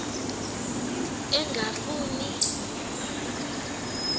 engafuma neki lula